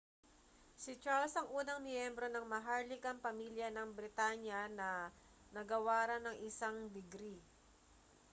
si charles ang unang miyembro ng maharlikang pamilya ng britanya na nagawaran ng isang digri